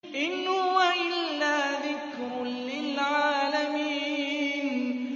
إِنْ هُوَ إِلَّا ذِكْرٌ لِّلْعَالَمِينَ